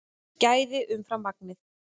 Gæðin umfram magnið